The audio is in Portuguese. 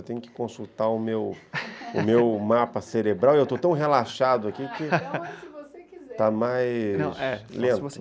Eu tenho que consultar o meu o meu mapa cerebral e eu estou tão relaxado aqui que está mais lento.